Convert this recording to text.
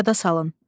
Yada salın.